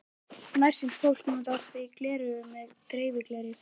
Nærsýnt fólk notar því gleraugu með dreifigleri.